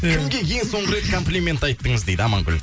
кімге ең соңғы рет комплимент айттыңыз дейді амангүл